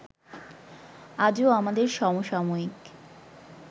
আজও আমাদের সমসাময়িক